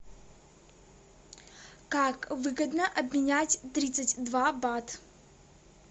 как выгодно обменять тридцать два бат